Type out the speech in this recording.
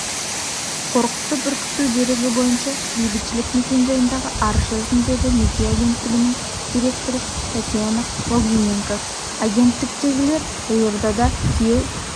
қорқытып-үркіту дерегі бойынша бейбітшілік мекенжайындағы арыз жаздым деді неке агенттігінің директоры татьяна логвиненко агенттіктегілер елордада күйеу